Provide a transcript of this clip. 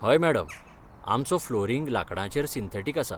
हय मॅडम, आमचो फ्लोरिंग लांकडाचेर सिंथेटिक आसा.